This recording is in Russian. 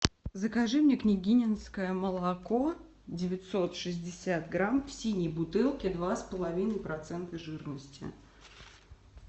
закажи мне княгининское молоко девятьсот шестьдесят грамм в синей бутылке два с половиной процента жирности